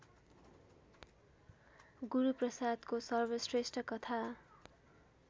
गुरूप्रसादको सर्वश्रेष्ठ कथा